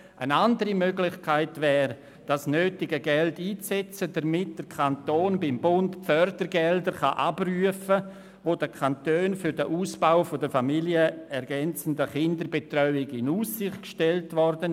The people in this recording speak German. Eine andere Möglichkeit wäre, das Geld dafür einzusetzen, dass der Kanton beim Bund die Fördergelder abrufen kann, die den Kantonen für den Ausbau der familienergänzenden Kinderbetreuung in Aussicht gestellt wurden.